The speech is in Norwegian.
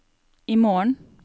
imorgen